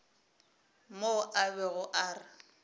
mo a bego a re